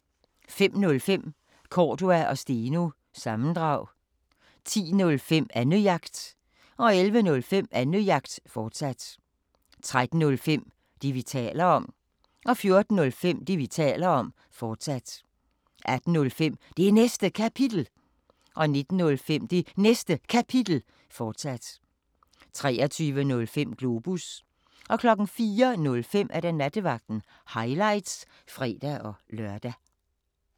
05:05: Cordua & Steno – sammendrag 10:05: Annejagt 11:05: Annejagt, fortsat 13:05: Det, vi taler om 14:05: Det, vi taler om, fortsat 18:05: Det Næste Kapitel 19:05: Det Næste Kapitel, fortsat 23:05: Globus 04:05: Nattevagten – highlights (fre-lør)